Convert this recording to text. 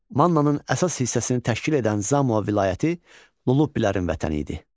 Mannanın əsas hissəsini təşkil edən Zamoa vilayəti Lullubilərin vətəni idi.